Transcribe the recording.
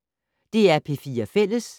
DR P4 Fælles